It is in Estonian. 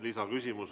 Lisaküsimus.